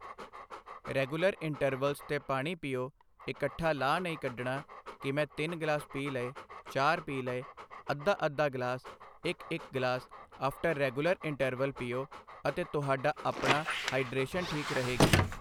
regular intervals 'ਤੇ ਪਾਣੀ ਪੀਓ ਇਕੱਠਾ ਲਾਹ ਨਹੀਂ ਕੱਢਣਾ ਕਿ ਮੈਂ ਤਿੰਨ ਗਲਾਸ ਪੀ ਲਏ ਚਾਰ ਪੀ ਲਏ ਅੱਧਾ ਅੱਧਾ ਗਲਾਸ ਇੱਕ ਇੱਕ ਗਲਾਸ ਆਫਟਰ ਰੈਂਗੂਲਰ ਇੰਟਰਵੈਲ ਪੀਓ ਅਤੇ ਤੁਹਾਡਾ ਆਪਣਾ ਹਾਈਡ੍ਰੇਸ਼ਨ ਠੀਕ ਰਹੇਗੀ